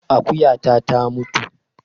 Akuyata ta mutu